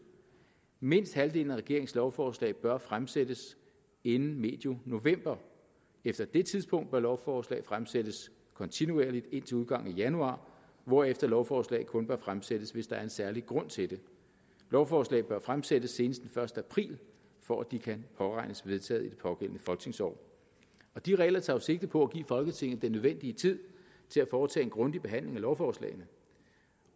mindst halvdelen af regeringens lovforslag bør fremsættes inden medio november efter det tidspunkt bør lovforslag fremsættes kontinuerligt indtil udgangen af januar hvorefter lovforslag kun bør fremsættes hvis der er en særlig grund til det lovforslag bør fremsættes senest den første april for at de kan påregnes vedtaget i det pågældende folketingsår de regler tager jo sigte på at give folketinget den nødvendige tid til at foretage en grundig behandling af lovforslagene